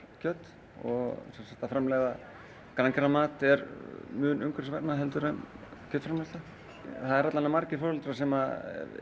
kjöt að framleiða er mun umhverfisvænna en kjötframleiðsla það eru allavega margir foreldrar sem